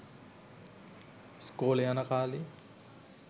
ඉස්කෝලෙ යන කාලෙ